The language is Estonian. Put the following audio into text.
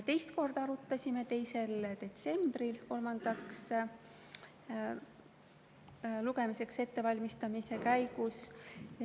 Teist korda arutasime 2. detsembril kolmandaks lugemiseks ettevalmistamise käigus.